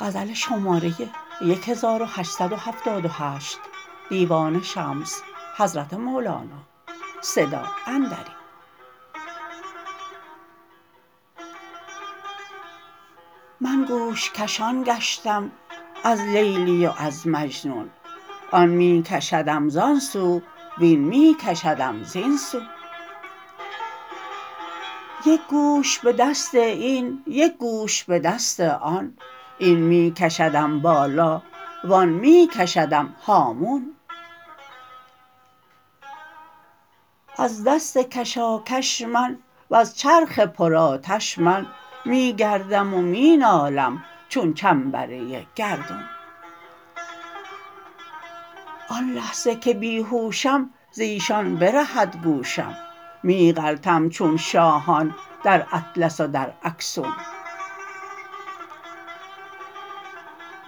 من گوش کشان گشتم از لیلی و از مجنون آن می کشدم زان سو وین می کشدم زین سون یک گوش به دست این یک گوش به دست آن این می کشدم بالا وان می کشدم هامون از دست کشاکش من وز چرخ پرآتش من می گردم و می نالم چون چنبره گردون آن لحظه که بی هوشم ز ایشان برهد گوشم می غلطم چون شاهان در اطلس و در اکسون